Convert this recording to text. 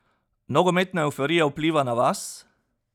Nogometna evforija vpliva na vas?